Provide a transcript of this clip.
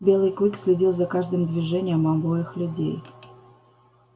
белый клык следил за каждым движением обоих людей